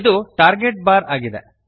ಇದು target bar ಆಗಿದೆ